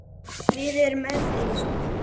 Við erum öðruvísi